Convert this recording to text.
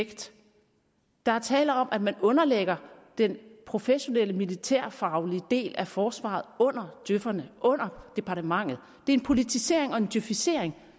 effekt der er tale om at man underlægger den professionelle militærfaglige del af forsvaret under djøferne under departementet det er en politisering og en djøfisering